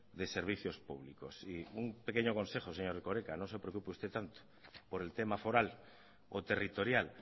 de servicios públicos y un pequeño consejo señor erkoreka no se preocupe usted tanto por el tema foral o territorial